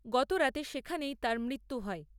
গতরাতে সেখানেই তার মৃত্যু হয়।